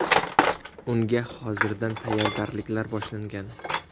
Unga hozirdan tayyorgarliklar boshlangan.